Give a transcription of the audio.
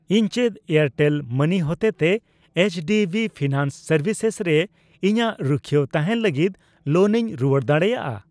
ᱤᱧ ᱪᱮᱫ Airtel money ᱦᱚᱛᱮᱛᱮ ᱮᱭᱤᱪᱰᱤᱵᱤ ᱯᱷᱤᱱᱟᱱᱥ ᱥᱮᱨᱵᱷᱤᱥᱮᱥ ᱨᱮ ᱤᱧᱟᱜ ᱨᱩᱠᱷᱣᱟᱹ ᱛᱟᱦᱮᱸᱱ ᱞᱟᱹᱜᱤᱛ ᱞᱳᱱ ᱤᱧ ᱨᱩᱣᱟᱹᱲ ᱫᱟᱲᱮᱭᱟᱜᱼᱟ ?